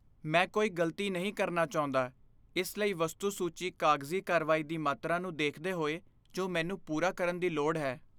ਮੈਂ ਕੋਈ ਗ਼ਲਤੀ ਨਹੀਂ ਕਰਨਾ ਚਾਹੁੰਦਾ, ਇਸ ਲਈ ਵਸਤੂ ਸੂਚੀ ਕਾਗਜ਼ੀ ਕਾਰਵਾਈ ਦੀ ਮਾਤਰਾ ਨੂੰ ਦੇਖਦੇ ਹੋਏ ਜੋ ਮੈਨੂੰ ਪੂਰਾ ਕਰਨ ਦੀ ਲੋੜ ਹੈ